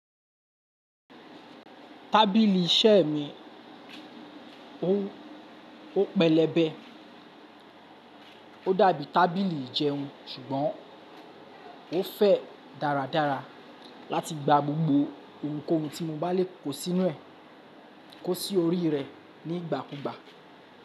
Tábìlì iṣẹ́ mi ó pẹlẹbẹ, ó dàbí tábìlì ìjẹun ṣùgbọ́n ó fẹ̀ dáradára láti gba gbogbo ohunkóhun tí mo bá lè kó sí orí rẹ̀ ní ìgbà kú ìgbà.